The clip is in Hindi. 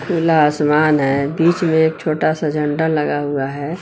नीला आसमान है बीच में एक छोटा सा झंडा लगा हुआ है।